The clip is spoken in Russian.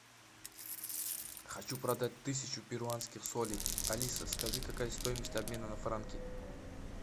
хочу продать тысячу перуанских солей алиса скажи какая стоимость обмена на франки